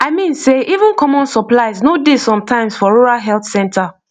i mean sey even common supplies no dey sometimes for rural health center